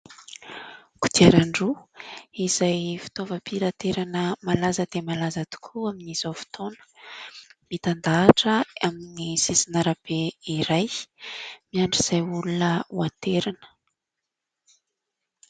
Kodiaran-droa izay fitaovam-pitaterana malaza dia malaza tokoa amin'izao fotoana, mitandahatra amin'ny sisin'arabe iray miandry izay olona ho aterina.